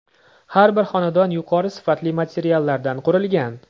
Har bir xonadon yuqori sifatli materiallardan qurilgan.